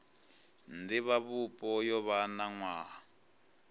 divhavhupo yo vha na nwaha